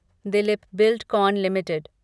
Dilip Buildcon limited